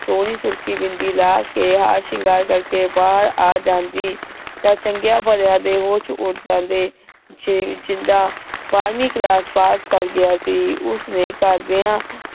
ਸੋਹਣੀ ਸੁਰਖੀ ਬਿੰਦੀ ਲਾਕੇ ਹਾਰ ਸ਼ਿੰਗਾਰ ਕਰਕੇ ਬਾਹਰ ਆ ਜਾਂਦੀ ਤਾਂ ਚੰਗੀਆਂ ਭਰਿਆ ਦੇ ਹੋਸ਼ ਉਡ ਜਾਂਦੇ ਛਿੰਦਾ ਬਾਹਰਵੀਂ ਕਲਾਸ ਪਾਸ ਕਰ ਗਿਆ ਸੀ ਉਸਨੇ ਘਰਦਿਆਂ